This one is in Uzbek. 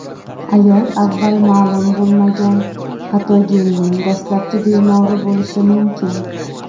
ayol avval ma’lum bo‘lmagan patogenning dastlabki bemori bo‘lishi mumkin.